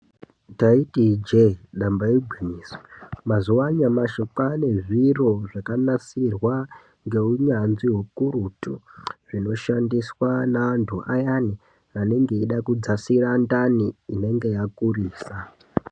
Taiti ijee damba igwinyiso. Mazuwa anyamashi kwave nezviro zvakanasirwa ngeunyanzvi ukurutu .Zvinoshandiswa naantu ayani anenge eida kudzasira ndani inenge yakurisa.